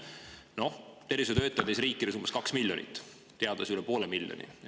Noh, tervishoiutöötajaid on neis riikides umbes kaks miljonit, teadlasi üle poole miljoni.